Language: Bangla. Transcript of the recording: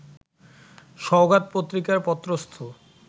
সওগাত পত্রিকায় পত্রস্থ